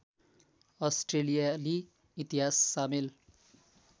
अस्ट्रेलियाली इतिहास सामेल